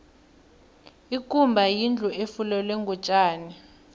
ikumba yindlu efulelwe ngotjani